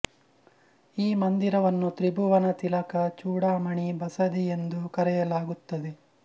ಈ ಮಂದಿರವನ್ನು ತ್ರಿಭುವನ ತಿಲಕ ಚೂಡಾಮಣಿ ಬಸದಿ ಎಂದೂ ಕರೆಯಲಾಗುತ್ತದೆ